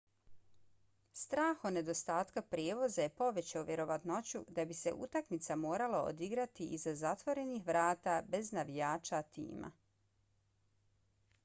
strah od nedostatka prijevoza je povećao vjerovatnoću da bi se utakmica morala odigrati iza zatvorenih vrata bez navijača tima